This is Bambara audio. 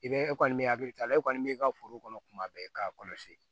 I bɛ e kɔni bɛ hakili t'a la e kɔni b'i ka foro kɔnɔ tuma bɛɛ k'a kɔlɔsi